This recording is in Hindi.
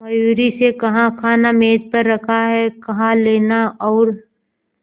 मयूरी से कहा खाना मेज पर रखा है कहा लेना और